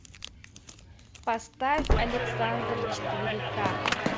поставь александр четыре ка